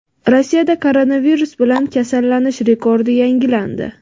Rossiyada koronavirus bilan kasallanish rekordi yangilandi.